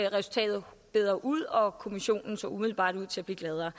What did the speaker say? resultatet bedre ud og kommissionen så umiddelbart ud til at blive gladere